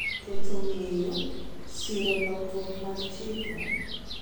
Keto ng’eyo, siro lokruok mag chike,